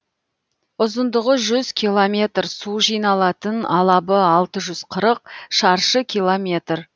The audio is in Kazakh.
ұзындығы жүз километр су жиналатын алабы алты жүз қырық шаршы километр